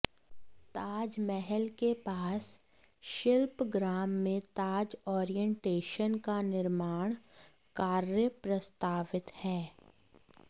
ताजमहल के पास शिल्पग्राम में ताज ओरिएंटेशन का निर्माण कार्य प्रस्तावित हैं